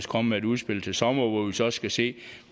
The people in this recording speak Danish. komme med et indspil til sommer hvor vi så skal se